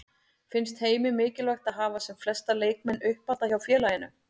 Finnst Heimi mikilvægt að hafa sem flesta leikmenn uppalda hjá félaginu?